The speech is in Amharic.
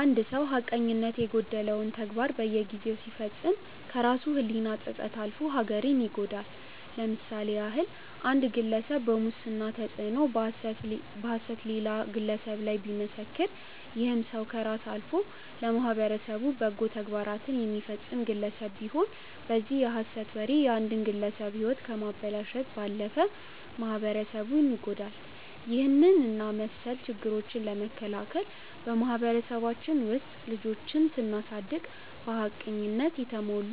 አንድ ሰው ሀቀኝነት የጎደለውን ተግባር በየጊዜው ሲፈጽም ከራሱ ህሊና ጸጸት አልፎ ሀገርን ይጎዳል። ለምሳሌ ያህል አንድ ግለሰብ በሙስና ተጽዕኖ በሐሰት ሌላ ግለሰብ ላይ ቢመሰክር ይህም ሰው ከራስ አልፎ ለማህበረሰቡ በጎ ተግባራትን የሚፈጸም ግለሰብ ቢሆን በዚህ የሐሰት ወሬ የአንድን ግለሰብ ህይወት ከማበላሸት ባለፈ ማህበረሰብ ይጎዳል። ይህንን እና መስል ችግሮችን ለመከላከል በማህበረሰባችን ውስጥ ልጆችን ስናሳደግ በሀቅነት የተሞሉ፣